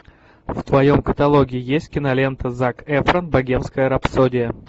в твоем каталоге есть кинолента зак эфрон богемская рапсодия